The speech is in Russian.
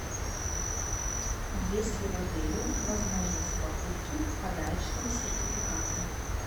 есть ли в отеле возможность покупки подарочного сертификата